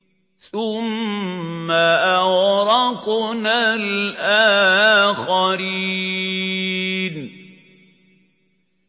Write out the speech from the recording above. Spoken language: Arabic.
ثُمَّ أَغْرَقْنَا الْآخَرِينَ